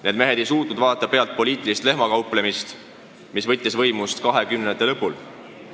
Need mehed ei suutnud vaadata pealt poliitilist lehmakauplemist, mis võttis võimust 1920-ndate lõpul.